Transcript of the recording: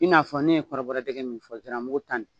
I n'a fɔ ne ye kɔrɔbɔrɔ dɛgɛ min fɔ ziramugu ta nin.